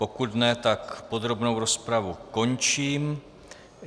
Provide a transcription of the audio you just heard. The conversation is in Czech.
Pokud ne, tak podrobnou rozpravu končím.